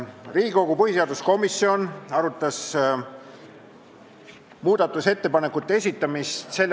Riigikogu põhiseaduskomisjon arutas eelnõu s.